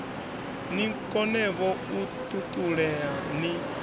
ni konevho u ṱuṱulea ni